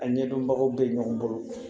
A ɲɛdɔnbagaw bɛ ɲɔgɔn bolo